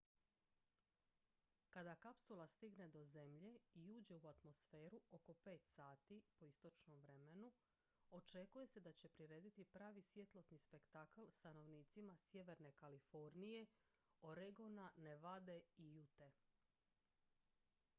kada kapsula stigne do zemlje i uđe u atmosferu oko 5 sati po istočnom vremenu očekuje se da će prirediti pravi svjetlosni spektakl stanovnicima sjeverne kalifornije oregona nevade i ute